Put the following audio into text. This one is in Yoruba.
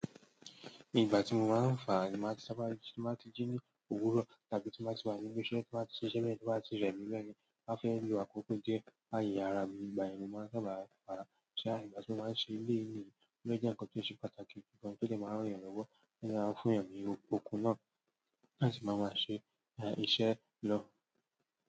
Nígbà tí mo máa ń fà á, tí máa ti sáábà jí, tí máa ti jí ní òwúrọ̀ tàbí tí máa ti wá ní ibi iṣẹ́, tí n ba ti ṣe iṣẹ́ be, to bati rẹmi beyen, ma fẹ́ lo àkókò díẹ̀ láyé ara mi nígbà yẹn ni mó máa ń sábà faa ṣa ígbà tí mo máa ń ṣe ilé ìníyì, ó jẹ́ ǹkan tó ṣe pàtàkì gan-an tó lè máa n rán èèyàn lówó, o de máa n fún èèyàn ni okun náà láti máa wá ṣe iṣẹ́ lọ.